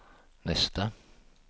nästa